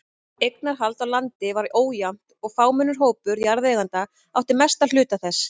Eignarhald á landi var ójafnt og fámennur hópur jarðeigenda átti mestan hluta þess.